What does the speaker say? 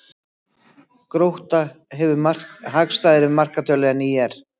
Grótta hefur hagstæðari markatölu en ÍR